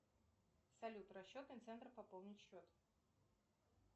салют расчетный центр пополнить счет